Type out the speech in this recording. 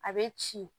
A bɛ ci